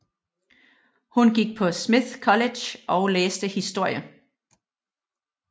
Hun gik på Smith College og læste historie